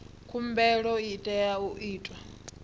khumbelo i tea u itwa